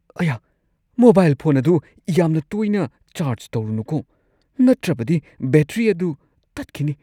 ꯑꯌꯥ! Mobile phone ꯑꯗꯨ ꯌꯥꯝꯅ ꯇꯣꯏꯅ ꯆꯥꯔꯖ ꯇꯧꯔꯨꯅꯨꯀꯣ ꯅꯠꯇ꯭ꯔꯕꯗꯤ ꯕꯦꯇ꯭ꯔꯤ ꯑꯗꯨ ꯇꯠꯈꯤꯅꯤ ꯫